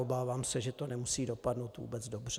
Obávám se, že to nemusí dopadnout vůbec dobře.